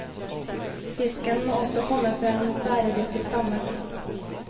Fisken må også komme fra en bæredyktig stamme.